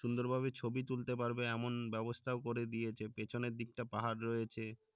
সুন্দর ভাবে ছবি তুলতে পারবে এমন বেবস্থাও করে দিয়েছে পেছনের দিকটা পাহাড় রয়েছে